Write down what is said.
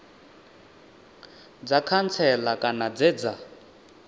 dza khantsela kana dze dza